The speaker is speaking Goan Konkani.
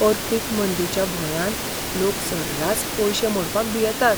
अर्थीक मंदिच्या भंयान लोक सर्रास पयशें मोडपाक भियेतात.